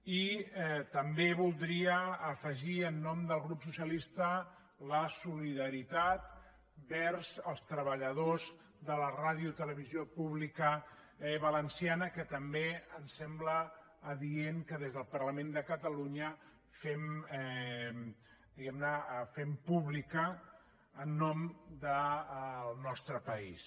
i també voldria afegir en nom del grup socialista la solidaritat vers els treballadors de la ràdio i televisió pública valenciana que també em sembla adient que des del parlament de catalunya fem diguem ne pública en nom del nostre país